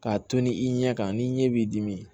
K'a tunun i ɲɛ kan ni ɲɛ b'i dimi